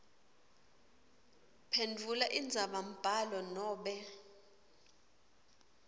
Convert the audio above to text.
phendvula indzabambhalo nobe